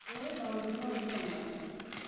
Njũĩ maũndũmau wega